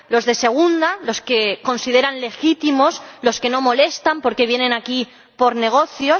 los de segunda, los que consideran legítimos, los que no molestan porque vienen aquí por negocios